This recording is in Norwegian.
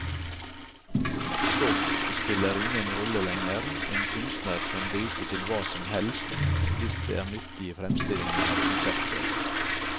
Stoff spiller ingen rolle lenger, en kunstner kan gripe til hva som helst hvis det er nyttig i fremstillingen av konseptet.